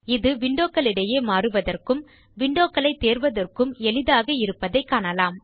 இது windowகளுக்கிடையே மாறுவதற்கும் windowகளை தேர்வதற்க்கும் எளிதாக இருப்பதைக் காணலாம்